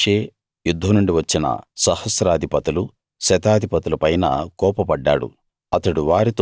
అప్పుడు మోషే యుద్ధం నుండి వచ్చిన సహస్రాధిపతులు శతాధిపతుల పైన కోపపడ్డాడు